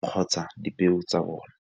kgotsa dipeo tsa bone.